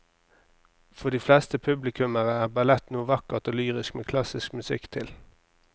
For de fleste publikummere er ballett noe vakkert og lyrisk med klassisk musikk til.